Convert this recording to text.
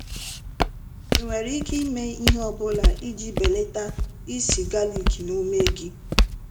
Ị nwere ike ime ihe ọ bụla iji belata ísì galik na ume gị?